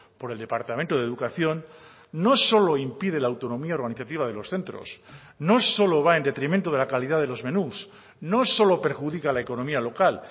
por el departamento de educación no solo impide la autonomía organizativa de los centros no solo va en detrimento de la calidad de los menús no solo perjudica la economía local